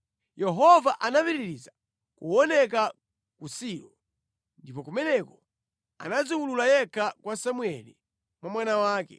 Yehova anapitiriza kuoneka ku Silo, ndipo kumeneko anadziwulula yekha kwa Samueli mwa mawu ake.